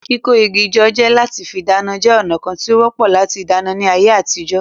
Kíkó igi jọ lati fí dáná jẹ́ ònà kán tí ó wọ́pọ̀ láti dáná ní àyè àtijọ́